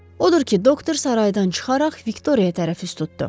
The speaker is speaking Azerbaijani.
Odur ki, doktor saraydan çıxaraq Viktoriya tərəf üst tutdu.